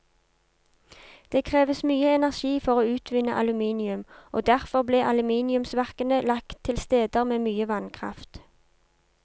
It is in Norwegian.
Det kreves mye energi for å utvinne aluminium, og derfor ble aluminiumsverkene lagt til steder med mye vannkraft.